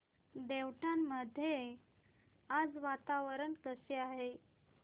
देवठाण मध्ये आज वातावरण कसे आहे